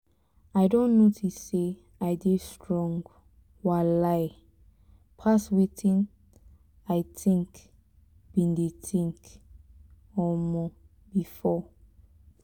i don notice say i dey strong um pass wetin i think been dey think um before